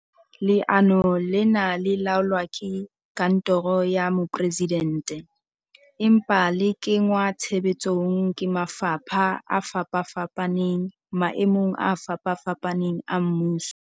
Leano lena le laolwa ke kantoro ya Mo-presidente, empa le kengwa tshebetsong ke mafapha a fapafapaneng maemong a fapafapaneng a mmuso.